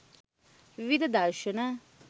විවිධ දර්ශන